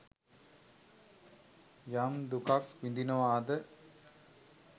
යම් දුකක් විඳිනවාද